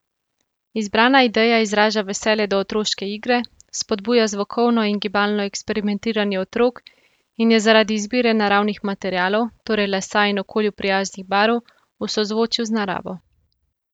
Izbrana ideja izraža veselje do otroške igre, spodbuja zvokovno in gibalno eksperimentiranje otrok in je zaradi izbire naravnih materialov, torej lesa in okolju prijaznih barv, v sozvočju z naravo.